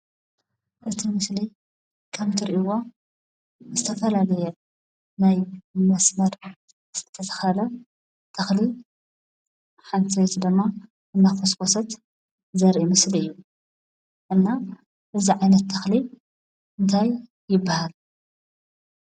እቲ ምስሊ ከምትሪእዎ ዝተፈላለየ ናይ መስመስር ዝተተኸለ ተኽሊ ሓንቲ ሰበይቲ ድማ እናኾስኮሰት ዘርኢ ምስሊ እዩ፡፡ እና እዚ ዓይነት ተኽሊ እንታይ ይባሃል?